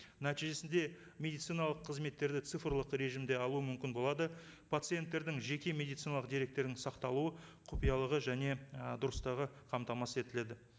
нәтижесінде медициналық қызметтерді цифрлық режимде алу мүмкін болады пациенттердің жеке медициналық деректерінің сақталуы құпиялығы және ы дұрыстығы қамтамасыз етіледі